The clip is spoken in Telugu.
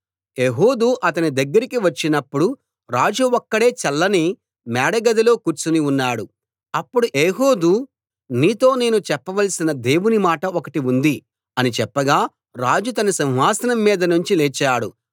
ఏహూదు అతని దగ్గరికి వచ్చినప్పుడు రాజు ఒక్కడే చల్లని మేడ గదిలో కూర్చుని ఉన్నాడు అప్పుడు ఏహూదు నీతో నేను చెప్పవలసిన దేవుని మాట ఒకటి ఉంది అని చెప్పగా రాజు తన సింహాసనం మీద నుంచి లేచాడు